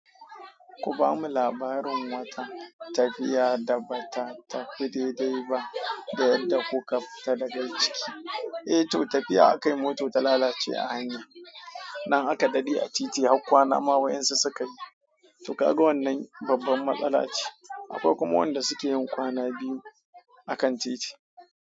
Ku ba mu labarin wata, tafiya da ba ta tafi daidai ba da yadda kuka fita daga ciki. Eh to tafiya, aka yi mota ta lalace a hanya, nan aka daɗe a titi har kwana ma wayensu suka yi. To kaga wannan babban matsala ce. Akwai kuma wanda suke yin kwana biyu a kan titi.